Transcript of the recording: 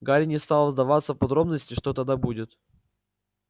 гарри не стал вдаваться в подробности что тогда будет